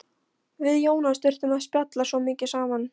Við Jónas þurftum að spjalla svo mikið saman.